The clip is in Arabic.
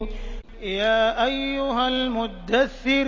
يَا أَيُّهَا الْمُدَّثِّرُ